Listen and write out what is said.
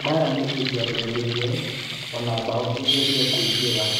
"Baraa nĩ ĩngĩraumĩrire ona bao ĩngĩragire kũingera."